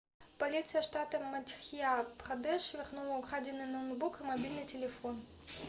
полиция штата мадхья-прадеш вернула украденные ноутбук и мобильный телефон